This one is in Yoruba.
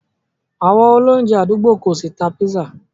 Àwọn olóunjẹ̀ adúgbò kò ṣí tà pízzà.